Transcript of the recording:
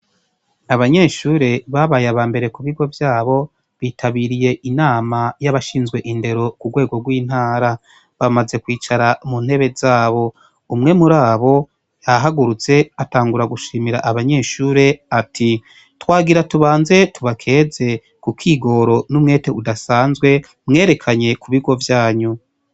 Abanyeshure babaye abambere kubigo vyabo bitabiriye inama yabashinzwe indero kurwego rwintara bamaze kwicara muntebe zabo umwe murabo yahagurutse atangura gushimira abanyeshure ati twagira tubanze tubakeze kukigoro numwete udasanzwe mwerekaye kubigo vyanyu